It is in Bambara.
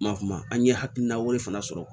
Ma kuma an ye hakilina wɛrɛ fana sɔrɔ